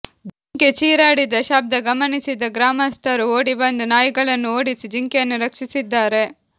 ಜಿಂಕೆ ಚೀರಾಡಿದ ಶಬ್ದ ಗಮನಿಸಿದ ಗ್ರಾಮಸ್ಥರು ಓಡಿಬಂದು ನಾಯಿಗಳನ್ನು ಓಡಿಸಿ ಜಿಂಕೆಯನ್ನು ರಕ್ಷಿಸಿದ್ದಾರೆ